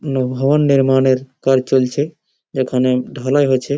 ন ভবন নির্মাণের কাজ চলছে। এখানে ঢালাই হচ্ছে।